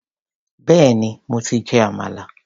Béèni mo ti jẹ àmàlà.